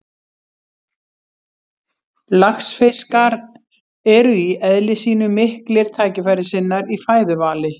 Laxfiskar eru í eðli sínu miklir tækifærissinnar í fæðuvali.